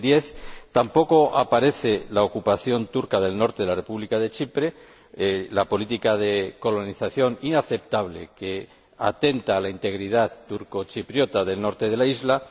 2010. Tampoco aparece la ocupación turca del norte de la República de Chipre, con una política de colonización inaceptable que atenta contra la integridad turcochipriota del norte de la isla.